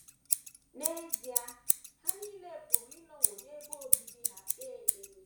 N’ezie,, ha nile pụrụ ịnọwo n’ebe obibi ha kpee ekpere.